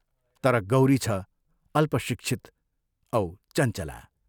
तर गौरी छ अल्पशिक्षित औ चञ्चला।